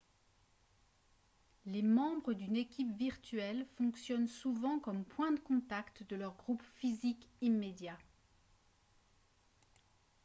les membres d'une équipe virtuelle fonctionnent souvent comme point de contact de leur groupe physique immédiat